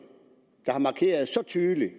så tydeligt